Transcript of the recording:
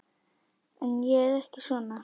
En ég er ekki svona.